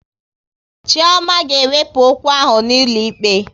Chioma ga ewepu okwu ahụ n'ụlọ ikpe